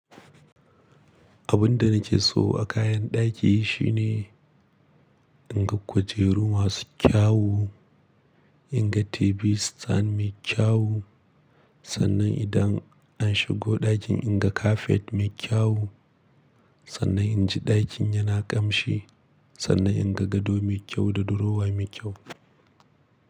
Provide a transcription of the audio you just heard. Abun da nake so a kayan ɗaki shi ne, in ga kujeru masu kyau, in ga TV tsan mai kyau, sannan idan an shigo ɗakin in ga kafet mai kyau, sannan in ji ɗakin yana ƙamshi, sannan in ga gado mai kyau da durowa mai kyau.